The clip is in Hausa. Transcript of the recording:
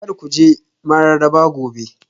Kar ku je Mararaba Gobe